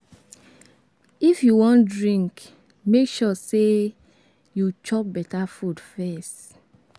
If you wan drink, make sure say you chop beta food first.